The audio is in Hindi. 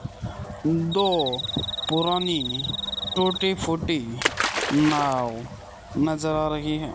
दो पुरानी टूटी फूटी नाव नजर आ रही है।